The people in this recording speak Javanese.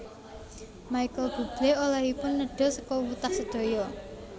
Michael Buble olehipun nedha sekul wutah sedaya